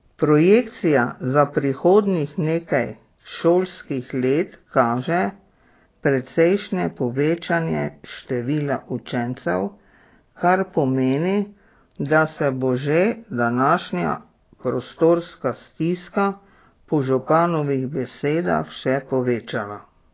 Projekcija za prihodnjih nekaj šolskih let kaže precejšnje povečanje števila učencev, kar pomeni, da se bo že današnja prostorska stiska po županovih besedah še povečala.